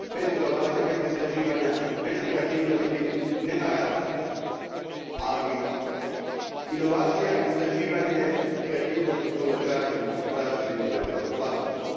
Bez inovacija, bez istraživanja, bez kreativnosti nema rasta, ali inovacija, istraživanje i kreativnost upravo traže zaštitu intelektualnog vlasništva.